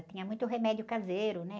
Tinha muito remédio caseiro, né?